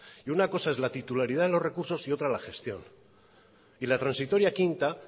y una cosa es la titularidad de los recursos y otra la gestión y la transitoria quinta